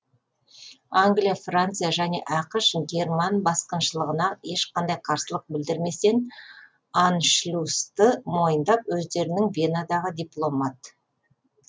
англия франция және ақш герман басқыншылығына ешқандай қарсылық білдірместен аншлюсты мойындап өздерінің венадағы дипломат